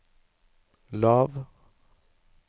lav